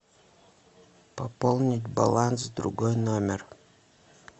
пополнить баланс другой номер